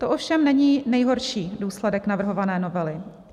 To ovšem není nejhorší důsledek navrhované novely.